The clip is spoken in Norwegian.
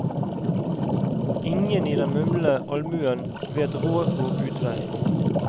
Ingen i den mumlende almuen vet råd og utvei.